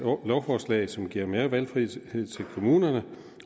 lovforslag som giver mere valgfrihed til kommunerne